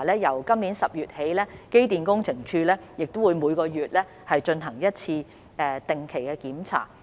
由今年10月起，機電工程署亦會每月進行一次定期檢查。